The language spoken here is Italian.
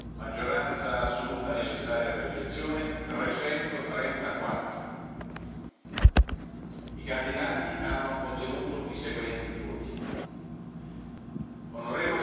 Maggioranza assoluta necessaria per l'elezione 334 I candidati hanno ottenuto i seguenti voti On.